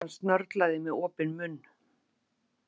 Mamma hans snörlaði með opinn munn.